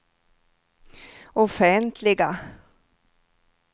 offentliga